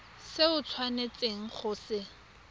se o tshwanetseng go se